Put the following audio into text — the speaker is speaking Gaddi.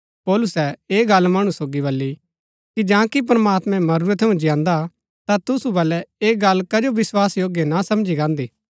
पौलुसै ऐह गल्ल मणु सोगी बली कि जांकि प्रमात्मैं मरूरै थऊँ जियान्दा ता तुसु बलै ऐह गल्ल कजो विस्वासयोग्य ना समझी गान्दी